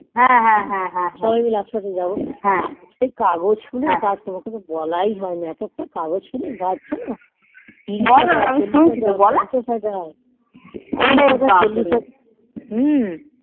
সবাই মাইল একসাথে যাবো সে কাগজ ফুলের গাছ তোমাকে তো বলাই হয়নি একেকটা কাগজ ফুলের গাছ যেন হম